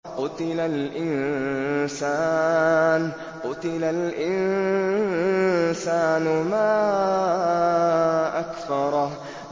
قُتِلَ الْإِنسَانُ مَا أَكْفَرَهُ